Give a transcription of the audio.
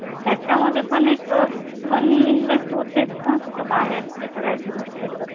त्याच्या मध्ये पण money invest होतेच ना कुठे बाहेर राहायचं म्हणल तर